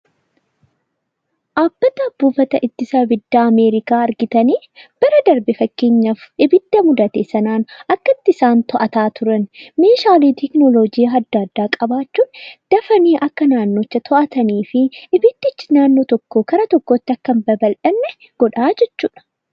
Dhaabbata ittisa abiddaa Ameerikaa argitanii? Bara darbe fakkeenyaaf, abidda mudate akkatti isaan to'achaa turan. Meeshaalee Tekinoloojii adda addaa qabaachuun akka dafanii naannicha to'atanii fi abiddicha bakka tokkoo gara bakka biraatti akka hin babal'anne godha jechuudha.